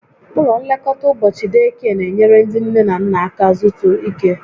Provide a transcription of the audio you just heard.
Ụlọ nlekọta ụbọchị deekie n'enyere ndị nne na nna aka zutu ike